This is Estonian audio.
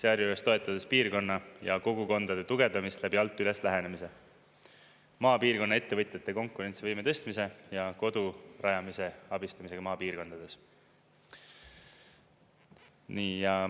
sealjuures toetades piirkonna ja kogukondade tugevdamisest läbi alt-üles-lähenemise, maapiirkonna ettevõtjate konkurentsivõime tõstmise ja kodu rajamise abistamisega maapiirkondades.